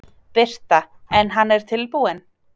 Birta: En hann er tilbúinn?